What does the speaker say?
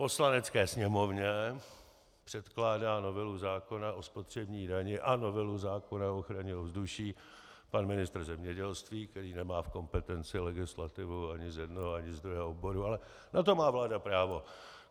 Poslanecké sněmovně předkládá novelu zákona o spotřební dani a novelu zákona o ochraně ovzduší pan ministr zemědělství, který nemá v kompetenci legislativu ani z jednoho ani z druhého oboru, ale na to má vláda právo.